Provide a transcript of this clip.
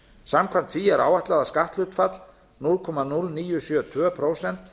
samkvæmt því er áætlað að skatthlutfallið núll komma núll níu sjö tvö prósent